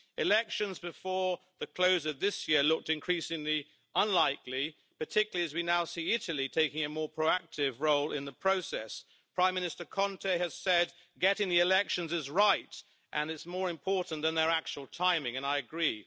Elections before the close of this year looked increasingly unlikely, particularly as we now see Italy taking a more proactive role in the process. Prime Minister Conte has said getting the elections is right and is more important than their actual timing, and I agree.